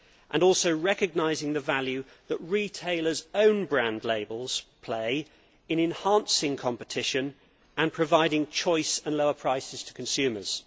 while also recognising the valuable role that retailers' own brand labels play in enhancing competition and providing choice and lower prices to consumers.